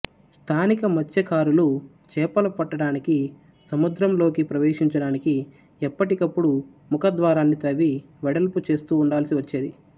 స్థానిక మత్స్యకారులు చేపలు పట్టడానికి సముద్రంలోకి ప్రవేశించడానికి ఎప్పటికప్పుడు ముఖ ద్వారాన్ని తవ్వి వెడల్పు చేస్తూ ఉండాల్సి వచ్చేది